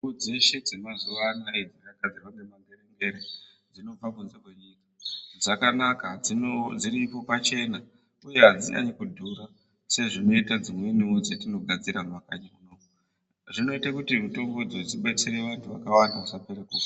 Mitombo dzeshe dzemazuva anaya dzakagadzirwa ngemangere-ngere dzinobva kunze kwenyika. Dzakanaka dziripo pachena, uye hadzinyanyi kubhura sedzinoita dzimwenivo dzatinogadzira mumakanyi kunoku zvinote kuti mitombodzo dzibatsire vantu vakawanda vasapere kufa.